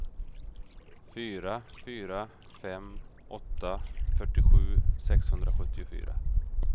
fyra fyra fem åtta fyrtiosju sexhundrasjuttiofyra